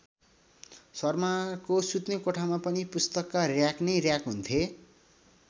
शर्माको सुत्ने कोठामा पनि पुस्तकका र्‍याक नै र्‍याक हुन्थे।